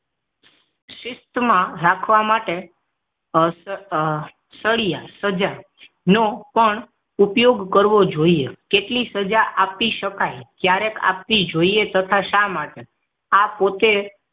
શિસ્ત માં રાખવા માટે સળિયા સજા નો પણ ઉપયોગ કરવો જોઈએ કેટલી સજા આપી શકાય ક્યારેક આપવી જોઈએ તથા શા માટે આ પોતે